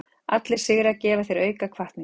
Allir sigrar gefa þér auka hvatningu.